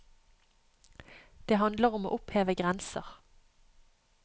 Det handler om å oppheve grenser.